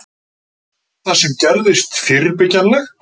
Var það sem gerðist fyrirbyggjanlegt?